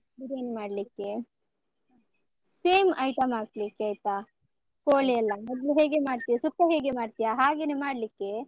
ಬಿರಿಯಾನಿ ಮಾಡ್ಲಿಕ್ಕೆ, same item ಹಾಕ್ಲಿಕ್ಕೆ ಆಯ್ತಾ, ಕೋಳಿ ಎಲ್ಲ, ಮೊದ್ಲು ಹೇಗೆ ಮಾಡ್ತಿಯಾ ಸುಕ್ಕ ಹೇಗೆ ಮಾಡ್ತಿಯಾ ಹಾಗೇನೆ ಮಾಡ್ಲಿಕ್ಕೆ.